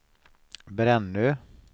Brännö